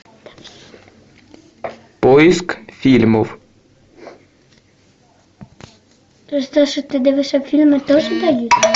поиск фильмов